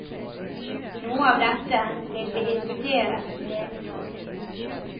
Noe av dette vil vi diskutere nedenfor.